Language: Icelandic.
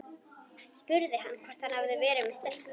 Spurði hvort hann hefði verið með stelpu.